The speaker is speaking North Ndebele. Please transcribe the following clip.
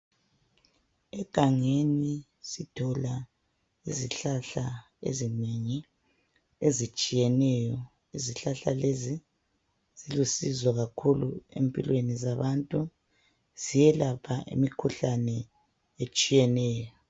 Egangeni sithola izihlahla ezinengi ezitshiyeneyo. Izihlahla lezi zilusizo kakhulu empilweni zabantu. Ziyelapha imikhuhlane etshiyeneyo .